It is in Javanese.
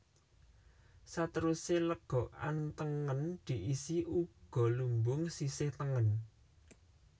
Satèrusé lègokan tèngèn diisi ugo lumbung sisih tèngèn